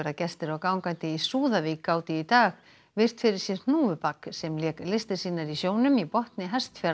gestir og gangandi í Súðavík gátu í dag virt fyrir sér hnúfubak sem lék listir sínar í sjónum í botni